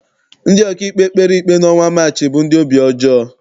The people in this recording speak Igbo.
Ndị ọkaikpe kpere ikpe n'ọnwa Maachị bụ ndị obi ọjọọ.